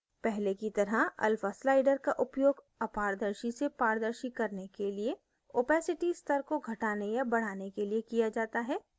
पहले की तरह alpha slider का उपयोग अपारदर्शी से पारदर्शी करने के लिए opacity स्तर को घटाने या बढाने के लिए किया जाता है